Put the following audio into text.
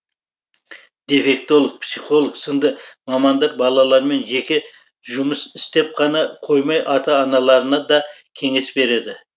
дефектолог психолог сынды мамандар балалармен жеке жұмыс істеп қана қоймай ата аналарына да кеңес береді